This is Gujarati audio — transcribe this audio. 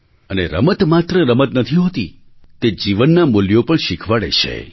અને રમત માત્ર રમત નથી હોતી તે જીવનનાં મૂલ્યો પણ શીખવાડે છે